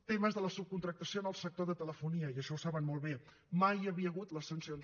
temes de la subcontractació en el sector de telefonia i això ho saben molt bé mai hi havia hagut les sancions